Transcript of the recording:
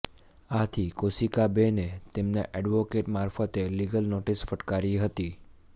આથી કૌશિકાબેને તેમના એડવોકેટ મારફતે લીગલ નોટિસ ફટકારી હતી